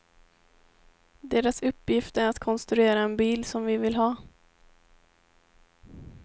Deras uppgift är att konstruera en bil som vi vill ha.